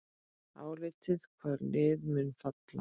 Álitið: Hvaða lið munu falla?